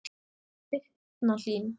Birna Hlín.